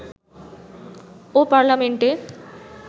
ও পার্লামেন্টে